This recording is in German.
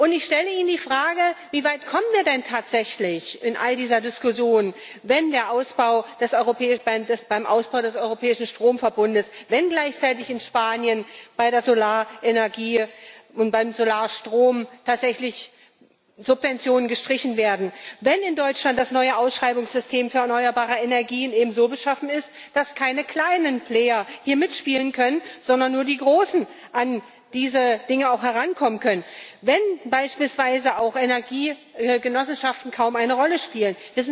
Ich stelle Ihnen die Frage Wie weit kommen wir denn tatsächlich in all dieser Diskussion, wenn beim Ausbau des europäischen Stromverbunds und gleichzeitig in Spanien bei der Solarenergie und beim Solarstrom tatsächlich Subventionen gestrichen werden, wenn in Deutschland das neue Ausschreibungssystem für erneuerbare Energien eben so beschaffen ist, dass hier keine kleinen Player mitspielen können, sondern nur die großen an diese Dinge herankommen können, wenn beispielsweise auch Energiegenossenschaften kaum eine Rolle spielen?